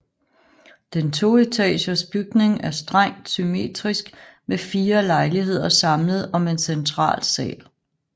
Den toetagers bygning er strengt symmetrisk med fire lejligheder samlet om en central sal